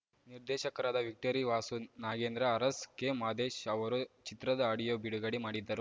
ನಿರ್ದೇಶಕರಾದ victory Vasu Nagendra Aras K Madesh ಅವರು ಚಿತ್ರದ ಆಡಿಯೋ ಬಿಡುಗಡೆ ಮಾಡಿದರು